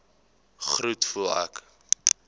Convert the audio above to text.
groet voel ek